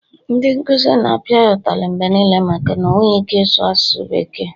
ndị nkuzi na-apịa ya ụtalị mgbe niile maka o enweghị ike ịsụ asụsụ bekee